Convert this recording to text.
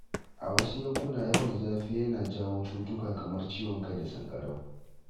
A wasu yankuna, yawan zafi yana jawo cutuka kamar ciwon kai da sanƙarau.